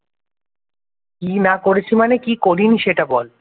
কি না করেছি মানে। কি না করিনি সেটা বল?